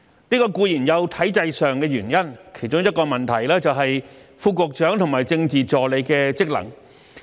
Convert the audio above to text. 這固然有體制上的原因，其中一個問題是，副局長和政治助理的職能。